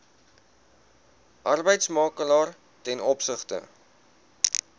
arbeidsmakelaar ten opsigte